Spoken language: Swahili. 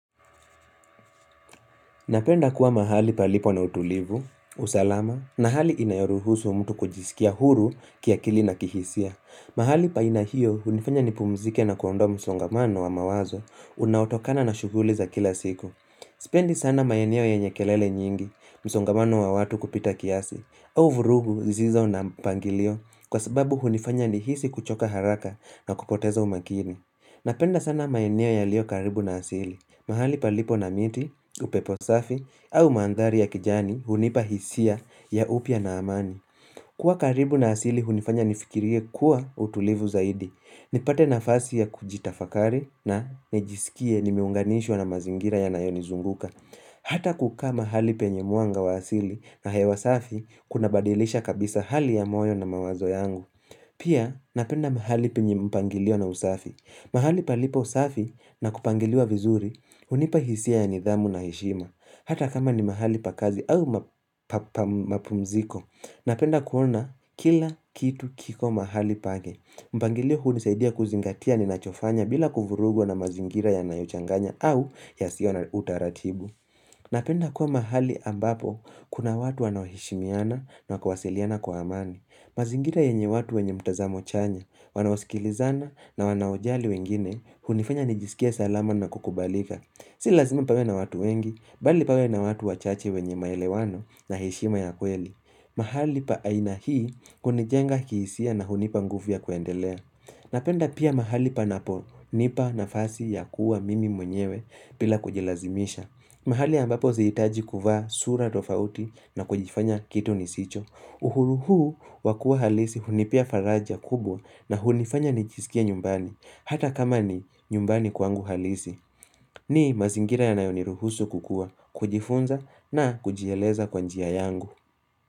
Napenda kuwa mahali palipo na utulivu, usalama, na hali inayoruhusu mtu kujisikia huru kiakili na kihisia. Mahali pa aina hiyo, hunifanya nipumzike na kuondoa msongamano wa mawazo, unaotokana na shughuli za kila siku. Sipendi sana maeneo yenye kelele nyingi, msongamano wa watu kupita kiasi, au vurugu zisizo na mpangilio, kwa sababu hunifanya nihisi kuchoka haraka na kupoteza umakini. Napenda sana maeneo yaliyo karibu na asili. Mahali palipo na miti, upepo safi, au maandhari ya kijani hunipa hisia ya upya na amani. Kwa karibu na asili hunifanya nifikirie kuwa utulivu zaidi. Nipate nafasi ya kujitafakari na nijisikie nimeunganishwa na mazingira yanayonizunguka. Hata kukaa mahali penye mwanga wa asili na hewa safi kuna badilisha kabisa hali ya moyo na mawazo yangu. Pia napenda mahali penye mpangilio na usafi. Mahali palipo usafi na kupangiliwa vizuri hunipa hisia ya nidhamu na heshima. Hata kama ni mahali pa kazi au mapumziko. Napenda kuona kila kitu kiko mahali pake. Mpangilio hunisaidia kuzingatia ni nachofanya bila kuvurugwa na mazingira yanayochanganya au yasio na utaratibu. Napenda kuwa mahali ambapo kuna watu wanaoheshimiana na kuwasiliana kwa amani. Mazingira yenye watu wenye mtazamo chanya, wanaosikilizana na wanawajali wengine, hunifanya nijisikie salama na kukubalika. Si lazima pawe na watu wengi, bali pawe na watu wachache wenye maelewano na heshima ya kweli. Mahali pa aina hii hunijenga kihisia na hunipa nguvu ya kuendelea. Napenda pia mahali panapo nipa nafasi ya kuwa mimi mwenyewe pila kujilazimisha. Mahali ambapo sihitaji kuvaa sura tofauti na kujifanya kitu nisicho. Uhuru huu wakua halisi hunipea faraja kubwa na hunifanya nijisikie nyumbani. Hata kama ni nyumbani kwangu halisi. Ni mazingira yanayoniruhusu kukua, kujifunza na kujieleza kwa njia yangu.